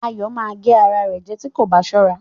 Ayọ̀ ma gé ara rẹ̀ jẹ́ tí kò bá sọra